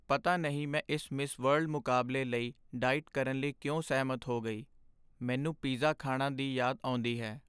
ਪਤਾ ਨਹੀਂ ਮੈਂ ਇਸ ਮਿਸ ਵਰਲਡ ਮੁਕਾਬਲੇ ਲਈ ਡਾਈਟ ਕਰਨ ਲਈ ਕਿਉਂ ਸਹਿਮਤ ਹੋ ਗਈ। ਮੈਨੂੰ ਪੀਜ਼ਾ ਖਾਣਾ ਦੀ ਯਾਦ ਆਉਂਦੀ ਹੈ।